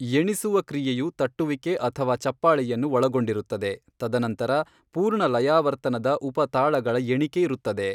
ಎಣಿಸುವ ಕ್ರಿಯೆಯು ತಟ್ಟುವಿಕೆ ಅಥವಾ ಚಪ್ಪಾಳೆಯನ್ನು ಒಳಗೊಂಡಿರುತ್ತದೆ, ತದನಂತರ ಪೂರ್ಣ ಲಯಾವರ್ತನದ ಉಪ ತಾಳಗಳ ಎಣಿಕೆ ಇರುತ್ತದೆ.